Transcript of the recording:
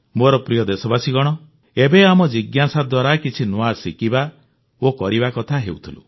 ମୋର ପ୍ରିୟ ଦେଶବାସୀଗଣ ଏବେ ଆମେ ଜିଜ୍ଞାସା ଦ୍ୱାରା କିଛି ନୂଆ ଶିଖିବା ଓ କରିବା କଥା ହେଉଥିଲୁ